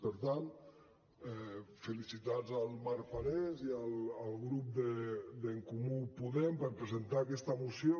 per tant felicitats al marc parés i al grup d’en comú podem per presentar aquesta moció